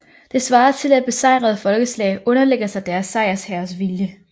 Det svarer til at besejrede folkeslag underlægger sig deres sejrsherres vilje